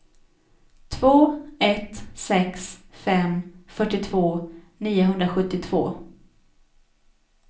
två ett sex fem fyrtiotvå niohundrasjuttiotvå